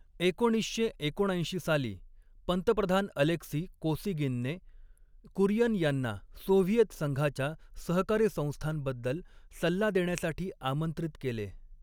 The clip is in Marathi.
एकोणीसशे एकोणऐंशी साली, पंतप्रधान अलेक्सी कोसिगिनने कुरियन यांना सोव्हिएत संघाच्या सहकारी संस्थांबद्दल सल्ला देण्यासाठी आमंत्रित केले.